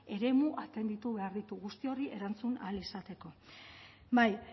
eremu atenditu behar ditu guzti horri erantzun ahal izateko bai